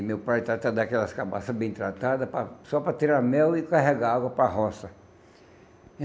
E meu pai tratava daquelas cabaças bem tratadas para só para tirar mel e carregar água para a roça.